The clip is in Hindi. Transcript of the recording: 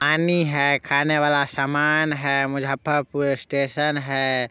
पानी है खाने वाला सामान है मुजफ्फरपूर स्टेशन है।